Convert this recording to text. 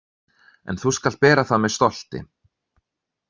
En þú skalt bera það með stolti.